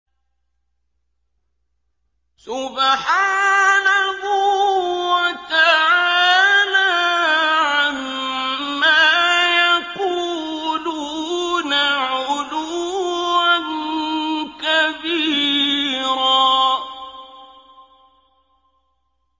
سُبْحَانَهُ وَتَعَالَىٰ عَمَّا يَقُولُونَ عُلُوًّا كَبِيرًا